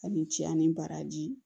A ni ce a ni baraji